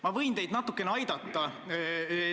Ma võin teid natukene aidata.